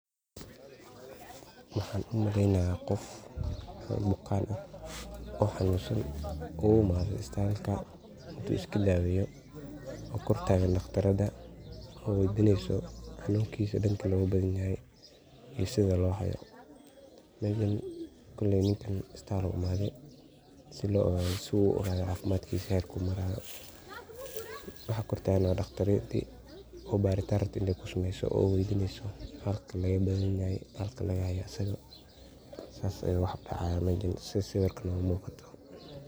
Maxan u maleynaya qof oo bukan ah oo isbitalka uimade inu iska daweyo . Oo kortagan dhakhtarada oo wey dineso hanunkisa danka loga badan yahay iyo sidha loo hayo koley ninkan isbital buu imade sii loo ogado cafimadkisa herku maraya waxa kortaagn waa dhagtarinti oo baritaan rabto intey ku sameso oo oigato halka lagahaya asaga si dawoyin loo siyo sidhas ayey wax u dacayan sidha muqata sawirka.